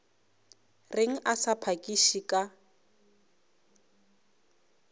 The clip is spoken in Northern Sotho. reng a sa phakiše ka